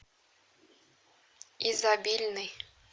изобильный